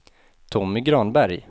Tommy Granberg